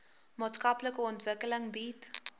maatskaplike ontwikkeling bied